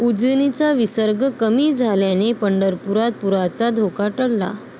उजनीचा विसर्ग कमी झाल्याने पंढरपुरात पुराचा धोका टळला